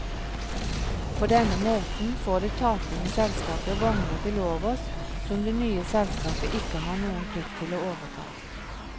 På denne måten får det tapende selskapet vogner til overs som det nye selskapet ikke har noen plikt til å overta.